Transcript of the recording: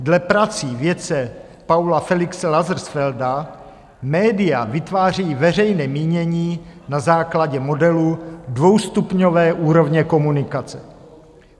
Dle prací vědce Paula Felixe Lazarsfelda média vytváří veřejné mínění na základě modelu dvoustupňové úrovně komunikace.